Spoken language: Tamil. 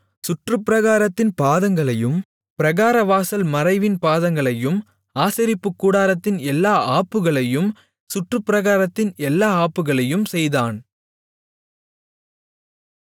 சுற்றுப் பிராகாரத்தின் பாதங்களையும் பிராகாரவாசல் மறைவின் பாதங்களையும் ஆசரிப்புக்கூடாரத்தின் எல்லா ஆப்புகளையும் சுற்றுப்பிராகாரத்தின் எல்லா ஆப்புகளையும் செய்தான்